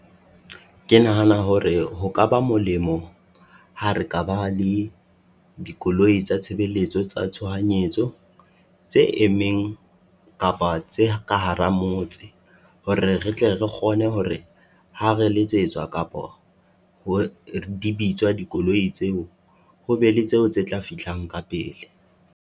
Ke nahana hore ho ka ba molemo ha re ka ba le dikoloi tsa tshebeletso tsa tshohanyetso tse emeng, kapa tse ka hara motse. Hore re tle re kgone hore ha re letsetswa kapo ho di bitswa dikoloi tseo ho be le tseo tse tla fihlang ka pele.